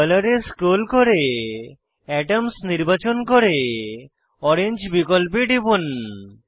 colour এ scroll করে atoms নির্বাচন করে ওরেঞ্জ বিকল্পে টিপুন